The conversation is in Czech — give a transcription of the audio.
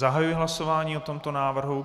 Zahajuji hlasování o tomto návrhu.